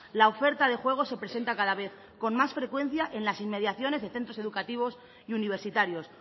la oferta de juego se presenta cada vez con más frecuencia en las inmediaciones de centros educativos y universitarios